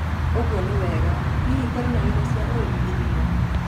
ũguo nĩ wega. Hihi, kũrĩ na indo cia ũrĩmi irĩa